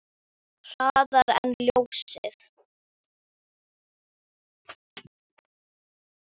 Hraðar en ljósið.